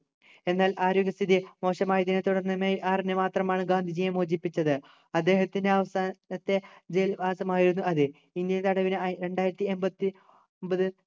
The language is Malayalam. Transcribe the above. എന്നാൽ ആരോഗ്യസ്ഥിതി മോശം ആയതിന് തുടർന്നു മെയ് ആറിന് മാത്രമാണ് ഗാന്ധിജിയെ മോചിപ്പിച്ചത് അദ്ദേഹത്തിൻ്റെ അവസാനത്തെ ജയിൽവാസം ആയിരുന്നു അത് ഇന്ത്യൽ തടവിന് രണ്ടായിരത്തി എൺപത്തിയൊമ്പത്